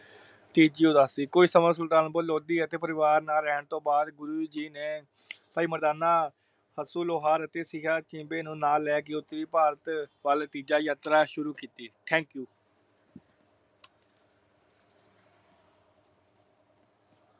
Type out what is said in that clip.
ਤੀਜੀ ਉਦਾਸੀ, ਕੋਈ ਸਮੇ ਸੁਲਤਾਨਪੁਰ ਲੋਧੀ ਅਤੇ ਆਪਣੇ ਪਰਿਵਾਰ ਨਾਲ ਰਹਿਣ ਤੋਂ ਬਾਦ ਗੁਰੂ ਜੀ ਨੇ ਭਾਈ ਮਰਦਾਨਾ ਅਸੁ ਲੋਹਾਰ ਅਤੇ ਸਿਆ ਸ਼ਿਮਬੇ ਨੂੰ ਨਾਲ ਲੈ ਕੇ ਭਾਰਤ ਵੱਲ ਤੀਜਾ ਯਾਤਰਾ ਸ਼ੁਰੂ ਕੀਤੀ। Thank you